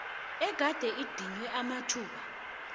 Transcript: egade idinywe amathuba